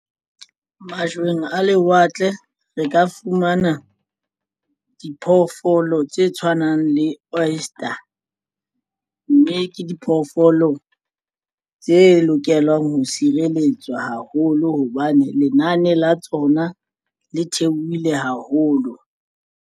Majweng a lewatle re ka fumana diphoofolo tse tshwanang le oyster, mme ke diphoofolo tse lokelang ho sireletswa haholo hobane lenane la tsona le theohile haholo.